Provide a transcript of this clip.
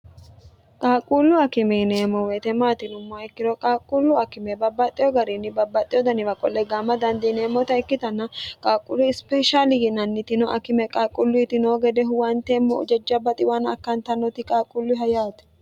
qaaqquullu akime yineemmo woyete maati yinummoha ikkiro qaaqquullu akime babbaxxeo gariinni babbaxxeo daniwa qolle gaama dandiineemmota ikkitanna qaaqquullu ispeshaali yinannitino akime qaaqqulluyitinoo gede huwanteemmo jajjabba xiwaanna akkantannoti qaaqquullunniha yaate.